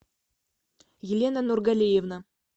елена нургалиевна